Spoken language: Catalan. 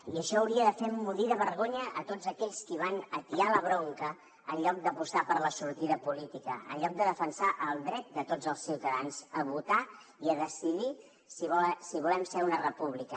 i això hauria de fer emmudir de vergonya a tots aquells qui van atiar la bronca en lloc d’apostar per la sortida política en lloc de defensar el dret de tots els ciutadans a votar i a decidir si volem ser una república